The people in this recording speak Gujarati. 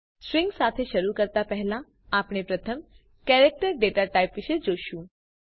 સ્ટ્રિંગ્સ સાથે શરૂ કરતા પહેલાં આપણે પ્રથમ કેરેક્ટર ડેટા ટાઇપ વિશે જોશું